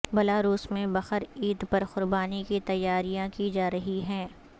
Belarus میں بقر عید پر قربانی کی تیاریاں کی جا رہی ہیں